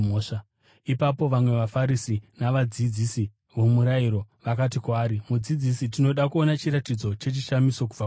Ipapo vamwe vaFarisi navadzidzisi vomurayiro vakati kwaari, “Mudzidzisi, tinoda kuona chiratidzo chechishamiso kubva kwamuri.”